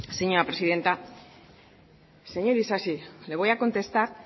señora presidenta señor isasi le voy a contestar